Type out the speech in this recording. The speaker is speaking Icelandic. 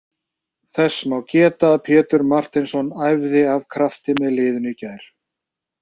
Þess má geta að Pétur Marteinsson æfði af krafti með liðinu í gær.